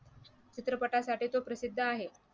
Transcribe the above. चित्रपटासाठी तो प्रसिद्ध आहे